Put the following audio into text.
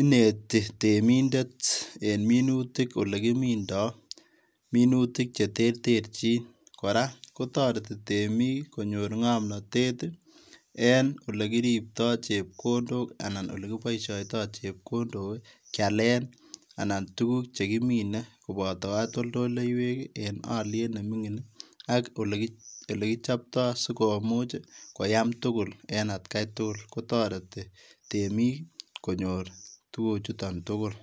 inetii reminder en minutiik ole kimindai minutiik che terterjiin kora kotaretiin temiik ii konyoor ngamnatet ik en ole kiriptai chepkondook anan ole kibaishaitaa chepkondook ii kiyaleen tuguuk che kimine kobataa katoltoleiweek en aliet nemingiin ii sikomuuch ak ole kichaptai sikomuuch koyaam tugul kotareeti temiik ii sikomuuch konyoor tuguuk chutoon tuguul.